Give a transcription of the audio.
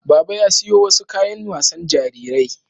Baba ya siyo wasu kayan wasan jarirai